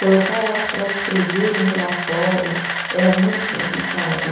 Colocar elas para escreverem relatório era muito complicado.